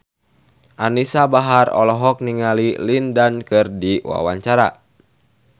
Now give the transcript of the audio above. Anisa Bahar olohok ningali Lin Dan keur diwawancara